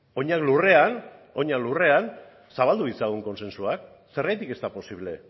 oinak lurrean zabaldu ditzagun kontsentsua zergatik ez da posible